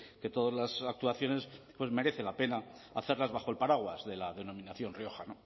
que todas las actuaciones merece la pena hacerlas bajo el paraguas de la denominación rioja